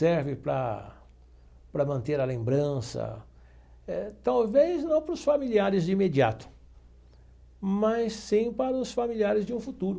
Serve para para manter a lembrança, talvez não para os familiares de imediato, mas sim para os familiares de um futuro.